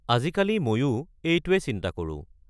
আজিকালি মইও এইটোৱে চিন্তা কৰোঁ।